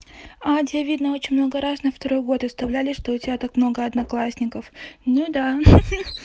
а у тебя видно очень много раз на второй год оставляли что у тебя так много одноклассников ну да